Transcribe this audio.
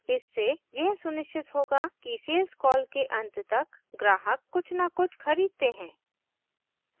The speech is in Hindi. इससे यह सुनिश्चित होगा कि सेल्स कॉल के अंत तक ग्राहक कुछ न कुछ खरीदते हैं